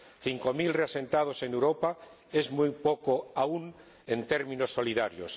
Cinco mil reasentados en Europa es muy poco aún en términos solidarios.